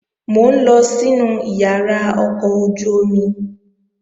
Mò ń lọ sínu ìyàrá ọkọ̀ ojú-omi